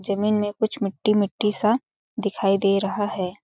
जमीन में कुछ मिट्टी -मिट्टी सा दिखाई दे रहा हैं ।